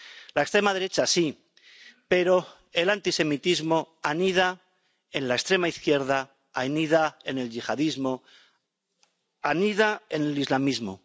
La extrema derecha, sí. Pero el antisemitismo anida en la extrema izquierda, anida en el yihadismo, anida en el islamismo.